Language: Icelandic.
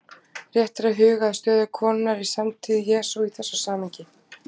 Rétt er að huga að stöðu konunnar í samtíð Jesú í þessu samhengi.